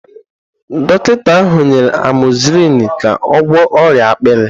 Dọkịta ahụ nyere amozisilini ka ọ gwọọ ọrịa akpịrị.